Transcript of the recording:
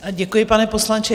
Děkuji, pane poslanče.